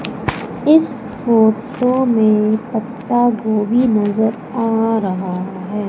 इस फोटो में पत्ता गोभी नजर आ रहा है।